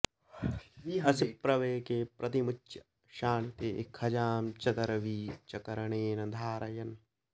असिप्रवेके प्रतिमुच्य शाणिते खजां च दर्वी च करेण धारयन्